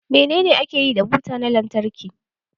Menene ake yi da buta na lantarki?